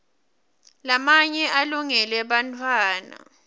lamanye alungele bantfwana